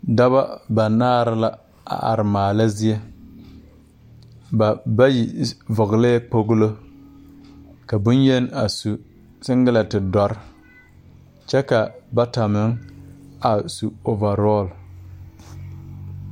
Dɔbɔ banaare la a are maala zie ba bayi vɔglɛɛ kpoŋlo ka bonyeni a su sengilɛnte dɔre kyɛ ka bata meŋ a su oovarɔl .